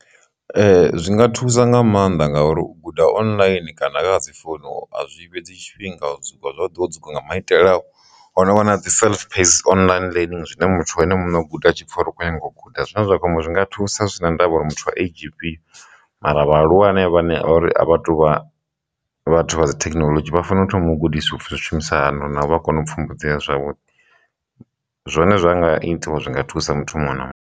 Zwi nga thusa nga maanḓa ngauri u guda online kana kha dzi founu a zwi fhedzi tshifhinga zwavhuḓi wo dzula nga maitele a u ono wana dzi online learning zwine muthu ene muṋe u guda tshipfha uri u khou nyanga u guda, zwine zwa khombo zwinga thusa thusa zwi si na ndavha uri muthu a age ifhio mara vhaaluwa anevha vhane ori a vhatuvha vhathu vha dza thekinoḽodzhi vha fanela u thoma u gudiswa upfhi zwishumisa hani na u vha kone u pfhumbudzea zwavhuḓi, zwone zwa nga itiwa zwi nga thusa muthu muṅwe na muṅwe.